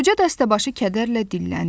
Qoca dəstəbaşı kədərlə dilləndi.